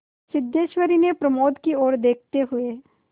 सिद्धेश्वरी ने प्रमोद की ओर देखते हुए